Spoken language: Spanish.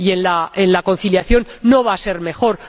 Y en la conciliación no va a ser mejor.